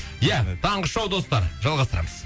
ия таңғы шоу достар жалғастырамыз